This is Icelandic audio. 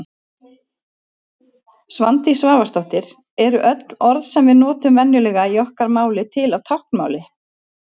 Svandís Svavarsdóttir Eru öll orð sem við notum venjulega í okkar máli til á táknmáli?